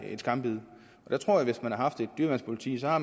skambid jeg tror at hvis man havde haft et dyreværnspoliti så